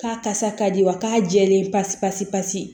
K'a kasa ka di wa k'a jɛlen pasi pasi pasi